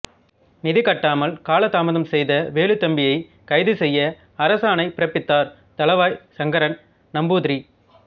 நிதி கட்டாமல் கால தாமதம் செய்த வேலுத்தம்பியை கைது செய்ய அரசு ஆணை பிறப்பித்தார் தளவாய் சங்கரன் நம்பூதிரி